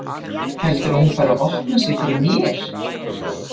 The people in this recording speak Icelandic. Heldurðu að hún fari að opna sig fyrir mér?